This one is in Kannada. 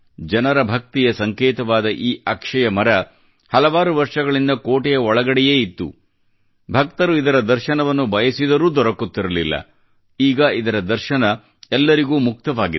ಜನರ ಭಕ್ತಿಯ ಸಂಕೇತವಾದ ಈ ಅಕ್ಷಯ ಮರ ಹಲವಾರು ವರ್ಷಗಳಿಂದ ಕೋಟೆಯ ಒಳಗಡೆಯೇ ಇತ್ತು ಭಕ್ತರು ಇದರ ದರ್ಶನವನ್ನು ಬಯಸಿದರು ದೊರಕುತ್ತಿರಲಿಲ್ಲ ಈಗ ಇದರ ದರ್ಶನ ಎಲ್ಲರಿಗೂ ಮುಕ್ತವಾಗಿದೆ